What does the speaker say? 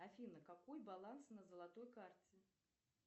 афина какой баланс на золотой карте